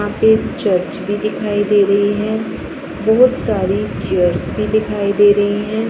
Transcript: वहां पे चर्च भी दिखाई दे रही है बहुत सारी चेयर्स भी दिखाई दे रही हैं।